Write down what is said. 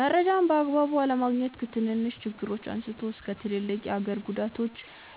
መረጃን በአግባቡ አለማግኘት ከትንንሽ ችግሮች አንስቶ እስከ ትልልቅ የሀገር ጉዳዮች